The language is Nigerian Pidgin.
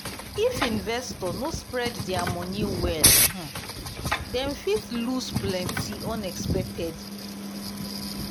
if investor no spread their money well um dem fit lose plenty unexpectedly. um